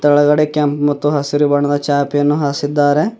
ಕೆಳಗಡೆ ಕೆಂಪ ಮತ್ತು ಹಸಿರು ಬಣ್ಣದ ಚಾಪೆಯನ್ನು ಹಾಸಿದ್ದಾರೆ.